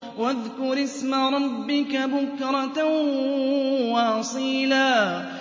وَاذْكُرِ اسْمَ رَبِّكَ بُكْرَةً وَأَصِيلًا